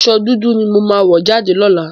Aṣọ dudu ni mo máa wọ̀ jáde lọ́làá.